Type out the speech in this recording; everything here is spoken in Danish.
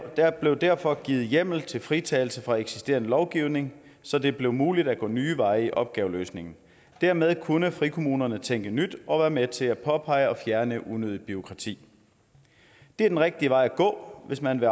blev derfor givet hjemmel til fritagelse fra eksisterende lovgivning så det blev muligt at gå nye veje i opgaveløsningen dermed kunne frikommunerne tænke nyt og være med til at påpege og fjerne unødigt bureaukrati det er den rigtige vej at gå hvis man